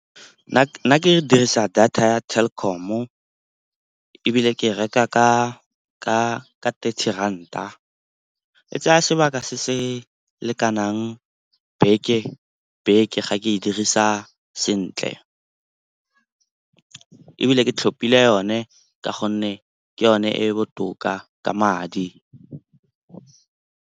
Nna ke ne ke dirisa data ya Telkom-o ebile ke reka ka thirty ranta. E tsaya sebaka se se lekanang beke ga ke e dirisa sentle. Ebile ke tlhopile yone ka gonne ke yone e e botoka ka madi.